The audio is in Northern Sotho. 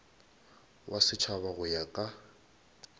wa setšhaba go ya ka